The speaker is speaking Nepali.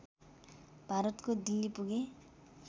भारतको दिल्ली पुगे